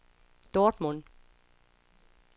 Dortmund